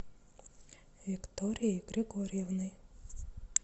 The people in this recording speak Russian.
викторией григорьевной